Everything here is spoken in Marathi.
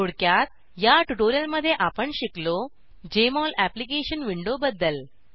थोडक्यात या ट्युटोरियलमध्ये आपण शिकलो जेएमओल अप्लिकेशन विंडोबद्दल